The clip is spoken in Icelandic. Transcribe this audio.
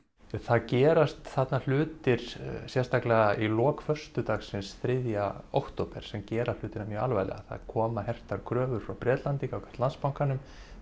það gerast þarna hlutir sérstaklega í lok föstudagsins þriðja október sem gera hlutina mjög alvarlega það koma hertar kröfur frá Bretlandi gagnvart Landsbankanum